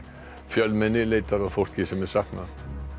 fjölmenni leitar að fólki sem er saknað